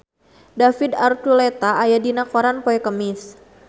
David Archuletta aya dina koran poe Kemis